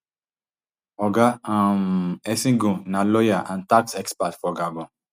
oga um essigone na lawyer and tax expert for gabon